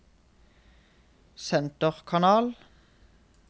senterkanal